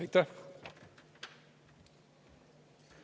Aitäh!